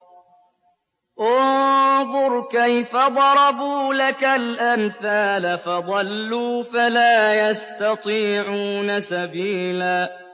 انظُرْ كَيْفَ ضَرَبُوا لَكَ الْأَمْثَالَ فَضَلُّوا فَلَا يَسْتَطِيعُونَ سَبِيلًا